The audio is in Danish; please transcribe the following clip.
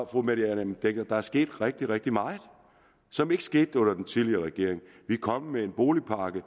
fru mette hjermind dencker der er sket rigtig rigtig meget som ikke skete under den tidligere regering vi kom med en boligpakke i